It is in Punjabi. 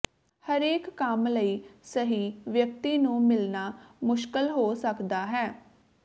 ਹਰੇਕ ਕੰਮ ਲਈ ਸਹੀ ਵਿਅਕਤੀ ਨੂੰ ਮਿਲਣਾ ਮੁਸ਼ਕਲ ਹੋ ਸਕਦਾ ਹੈ